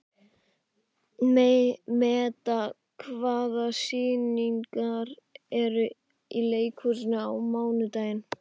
Meda, hvaða sýningar eru í leikhúsinu á mánudaginn?